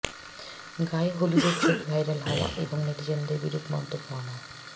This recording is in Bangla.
গায়ে হলুদের ছবি ভাইরাল হওয়া এবং নেটিজেনদের বিরূপ মন্তব্য আমার